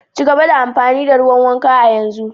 Ci gaba da amfani da ruwan wanka a yanzu.